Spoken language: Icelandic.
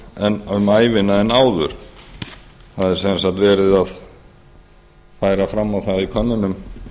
fyrr um ævina heldur en áður það er sem sagt verið að færa fram á það í könnunum